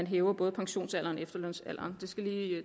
hæve både pensionsalderen og efterlønsalderen